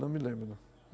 Não me lembro, não.